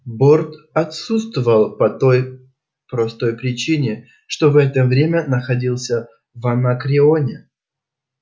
борт отсутствовал по той простой причине что в это время находился в анакреоне